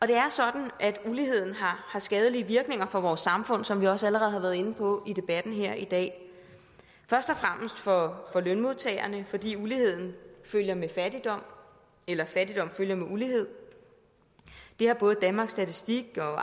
det er sådan at uligheden har skadelige virkninger for vores samfund som vi også allerede har været inde på i debatten her i dag først og fremmest for lønmodtagerne fordi uligheden følger med fattigdom eller fattigdom følger med ulighed det har både danmarks statistik og